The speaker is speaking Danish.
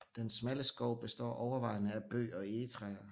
Den smalle skov består overvejende af bøg og egetræer